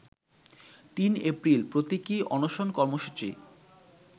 ৩ April প্রতীকি অনশন কর্মসূচি